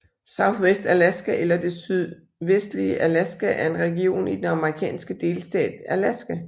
Southwest Alaska eller Det sydvestlige Alaska er en region i den amerikanske delstat Alaska